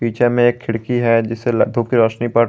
पीछे में एक खिड़की है जिससे रोशनी पड़--